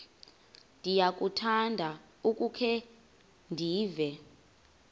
ndiyakuthanda ukukhe ndive